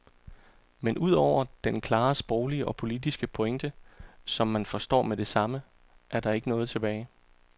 Men udover den klare sproglige og politiske pointe, som man forstår med det samme, er der ikke noget tilbage.